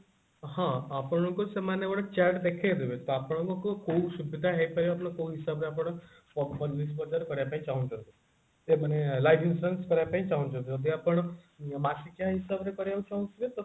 ହଁ ଆପଣଙ୍କୁ ସେମାନେ ଗୋଟେ chart ଦେଖେଇ ଦେବେ ତ ଆପଣଙ୍କୁ କୋଉ ସୁବିଧା ହେଇପାରିବ କୋଉ ହିସାବରେ ଆପଣ ବଜାର କରିବା ପାଇଁ ଚାହୁଞ୍ଚନ୍ତି ଏ ମାନେ life insurance କରିବା ପାଇଁ ଚାହୁଞ୍ଚନ୍ତି ଯଦି ଆପଣ ମାସିକିଆ ହିସାବରେ କରିବାକୁ ଚାହୁଁଥିବେ